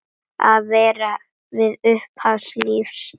Að vera við upphaf lífs.